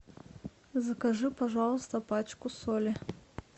закажи пожалуйста пачку соли